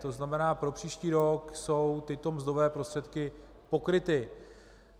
To znamená pro příští rok jsou tyto mzdové prostředky pokryty.